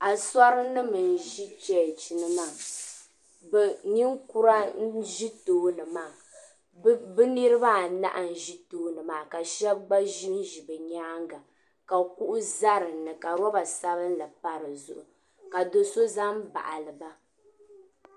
Asorinima n-ʒi chɛɛchi ni maa ninkura n-ʒi tooni maa bɛ niriba anahi n-ʒi tooni maa ka shɛba gba ʒi bɛ nyaaŋa ka kuɣu za di ni ka roba sabinli pa di zuɣu ka do so za m-baɣi ba.